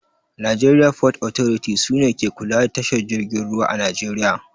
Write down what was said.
Najeriya fot otoriti sune ke kula da tashar jirgin ruwa a najeriya